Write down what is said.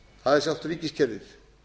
það er sjálft ríkiskerfið